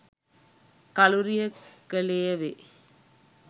කලුරිය කළේ වේ.